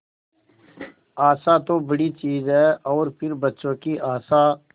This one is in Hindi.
आशा तो बड़ी चीज है और फिर बच्चों की आशा